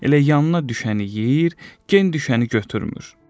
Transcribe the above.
Elə yanına düşəni yeyir, gen düşəni götürmür.